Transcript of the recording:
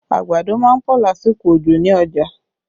Àgbàdo má ń pọ̀ lásìkò òjò ní ọjà